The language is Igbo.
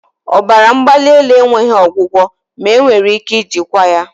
Ọbara mgbali elu enweghị ọgwụgwọ ma enwere ike ijikwa ya